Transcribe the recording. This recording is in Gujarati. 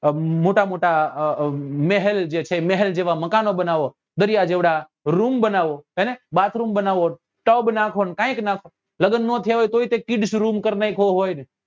અ મોટા મોટા મહેલ જે છે મહેલ જેવા મકાન બનાવો દરિયા જેવડા room બનાવો હેને bathroom બનાવો ને tub નાખો ને કઈક નાખો લગ્ન નાં થયા હોય તોય કે kids room કરી નાખ્યો હોય ને